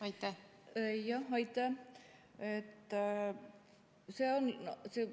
Aitäh!